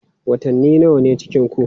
Watanni nawa ne cikinku?